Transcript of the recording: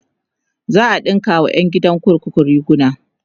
za'a ɗinka wa ƴan gidan kurkuku riguna